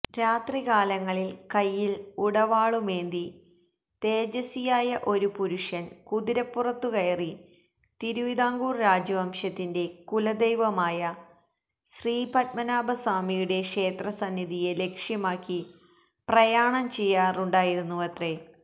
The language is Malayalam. രാത്രികാലങ്ങളില് കൈയില് ഉടവാളുമേന്തി തേജസ്വിയായ ഒരു പുരുഷന് കുതിരപ്പുറത്തുകയറി തിരുവിതാംകൂര് രാജവംശത്തിന്റെ കുലദൈവമായ ശ്രീപത്മനാഭസ്വാമിയുടെ ക്ഷേത്രസന്നിധിയെ ലക്ഷ്യമാക്കി പ്രയാണം ചെയ്യാറുണ്ടായിരുന്നുവത്രേ